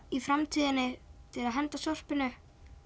í framtíðinni til að henda öllu sorpinu